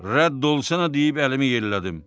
Rədd ol səninə deyib əlimi yellədim.